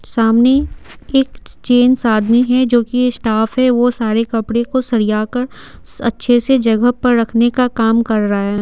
सामने एक जेन्ट्स आदमी हैजो कि स्टाफ है वह सारे कपड़े को सरियाकर अच्छे से जगह पर रखने का काम कर रहा है।